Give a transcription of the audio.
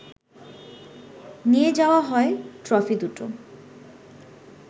নিয়ে যাওয়া হয় ট্রফি দুটো